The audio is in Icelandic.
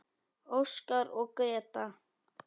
Óskar og Gréta.